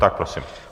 Tak prosím.